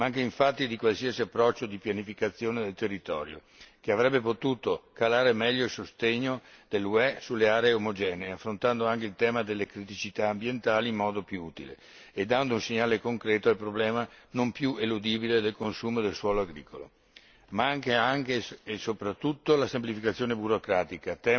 Manca, infatti, di qualsiasi approccio di pianificazione del territorio, che avrebbe potuto calare meglio il sostegno dell'UE sulle aree omogenee, affrontando anche il tema delle criticità ambientali in modo più utile e dando un segnale concreto al problema, non più eludibile, del consumo del suolo agricolo, ma anche e soprattutto la semplificazione burocratica.